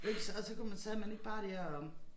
Det jo ikke så og så kunne man sad man ikke bare dér og